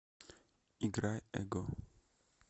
играй эго